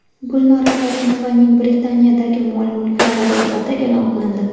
Gulnora Karimovaning Britaniyadagi mol-mulklari ro‘yxati e’lon qilindi.